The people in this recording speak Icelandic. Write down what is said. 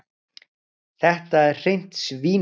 Þetta er hreint svínarí.